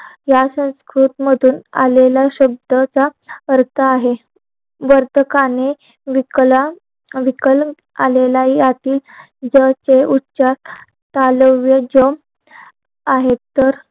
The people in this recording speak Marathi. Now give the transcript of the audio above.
या संस्कृतमधून आलेला शब्द ज परखा आहे वर्तकाने विकलं आलेला यातील ज चे उच्चार ज आहेत तर